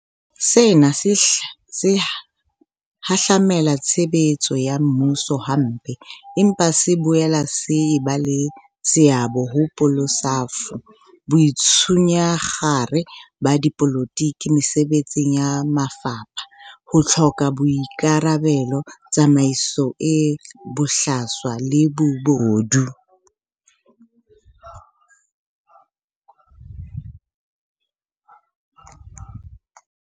Sena se hahlamela tshebetso ya mmuso hampe, empa se boela se eba le seabo ho bolesafo, boitshunyakgare ba dipolotiki mesebetsing ya mafapha, ho hloka boika rabelo, tsamaiso e bohlaswa le bobodu.